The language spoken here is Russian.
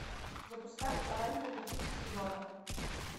запускай оранжевый хит сезона